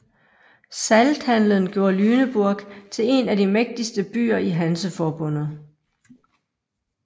Salthandelen gjorde Lüneburg til en af de mægtigste byer i Hanseforbundet